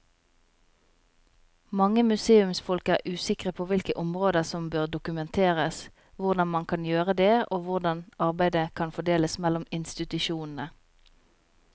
Mange museumsfolk er usikre på hvilke områder som bør dokumenteres, hvordan man kan gjøre det og hvordan arbeidet kan fordeles mellom institusjonene.